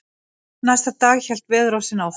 Næsta dag hélt veðurofsinn áfram.